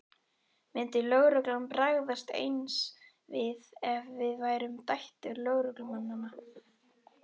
Myndi lögreglan bregðast eins við ef við værum dætur lögreglumanna?